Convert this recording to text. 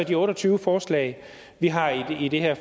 de otte og tyve forslag vi har i det her